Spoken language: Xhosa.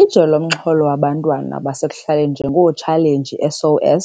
Ijelo linomxholo wabantwana basekuhlaleni njengoChallenge SOS,